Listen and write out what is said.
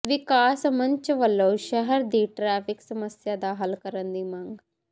ਵਿਕਾਸ ਮੰਚ ਵਲੋਂ ਸ਼ਹਿਰ ਦੀ ਟ੍ਰੈਫਿਕ ਸਮੱਸਿਆ ਦਾ ਹੱਲ ਕਰਨ ਦੀ ਮੰਗ